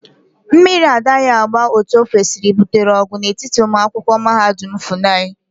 Mmiri adaghi agba Otu okwesiri gbutere ogu n'etiti umuakwokwu mahadum FUNAI.